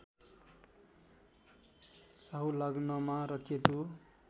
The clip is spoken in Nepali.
राहु लग्नमा र केतु